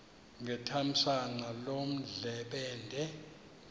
ngethamsanqa loo ndlebende